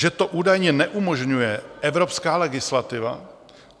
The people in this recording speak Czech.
Že to údajně neumožňuje evropská legislativa?